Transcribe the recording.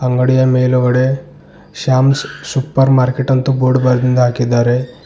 ಅಂಗಡಿಯ ಮೇಲುಗಡೆ Shams super market ಅಂತ ಬೋರ್ಡ್ ಬರ್ದಿಂದ್ ಹಾಕಿದ್ದಾರೆ.